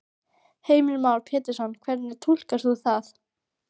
Heimir Már Pétursson: Hvernig túlkar þú það?